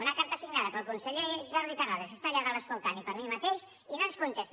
una carta signada pel diputat jordi terrades que està allà dalt escoltant i per mi mateix i no ens contesta